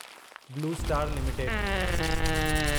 blue Star limited